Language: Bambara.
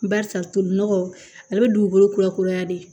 Barisa tolinɔgɔ ale bɛ dugukolo kurakuraya de